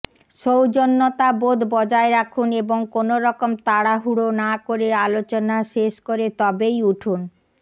সৌজন্যতাবোধ বজায় রাখুন এবং কোনো রকম তাড়াহুড়ো না করে আলোচনা শেষ করে তবেই উঠুন